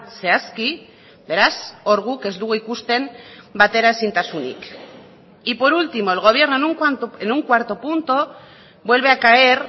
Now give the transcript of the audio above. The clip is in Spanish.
zehazki beraz hor guk ez dugu ikusten bateraezintasunik y por último el gobierno en un cuarto punto vuelve a caer